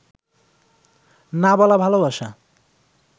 না বলা ভালবাসা